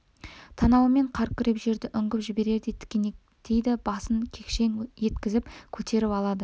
танауымен қар күреп жерді үңгіп жіберердей тінтінектейді басын кекшең еткізіп көтеріп алады